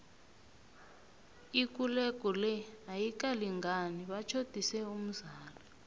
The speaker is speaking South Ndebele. ikulego le ayikalingani batjhodise umzala